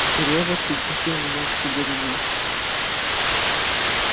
серёжа пригласил меня к себе домой